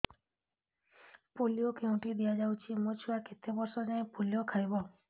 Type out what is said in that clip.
polio କେଉଁଠି ଦିଆଯାଉଛି ମୋ ଛୁଆ କେତେ ବର୍ଷ ଯାଏଁ ପୋଲିଓ ଖାଇବ